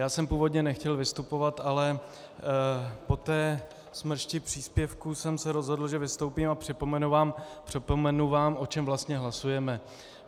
Já jsem původně nechtěl vystupovat, ale po té smršti příspěvků jsem se rozhodl, že vystoupím a připomenu vám, o čem vlastně hlasujeme.